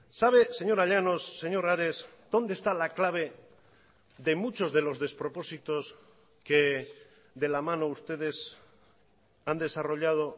sabe señora llanos señor ares dónde está la clave de muchos de los despropósitos que de la mano ustedes han desarrollado